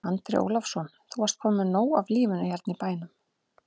Andri Ólafsson: Þú varst kominn með nóg af lífinu hérna í bænum?